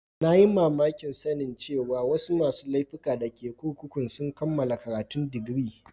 Na yi mamaki sanin cewa wasu masun laifuka da ke kurkukun sun kamala karatun digiri.